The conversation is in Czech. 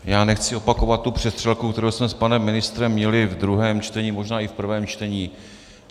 Já nechci opakovat tu přestřelku, kterou jsme s panem ministrem měli v druhém čtení, možná i v prvém čtení.